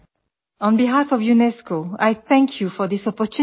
audio UNESCO DG